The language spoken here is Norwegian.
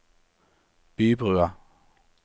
Bybrua